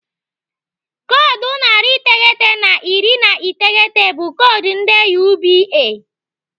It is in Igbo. Koodu narị iteghete na iri na iteghete bụ koodu ndị UBA.